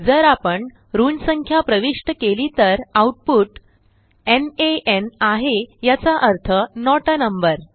जर आपण ऋण संख्या प्रविष्ट केली तर आउटपुट नान आहे याचा अर्थ नोट आ नंबर